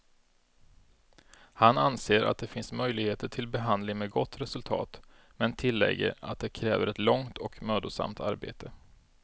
Han anser att det finns möjligheter till behandling med gott resultat, men tillägger att det kräver ett långt och mödosamt arbete.